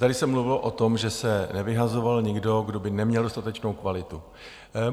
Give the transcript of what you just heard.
Tady se mluvilo o tom, že se nevyhazoval nikdo, kdo by neměl dostatečnou kvalitu.